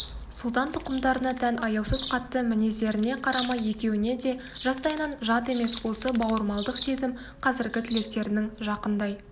сұлтан тұқымдарына тән аяусыз қатты мінездеріне қарамай екеуіне де жастайынан жат емес осы бауырмалдық сезім қазіргі тілектерінің жақындай